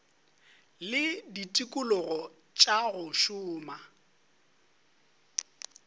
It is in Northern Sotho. le ditikologo tša go šoma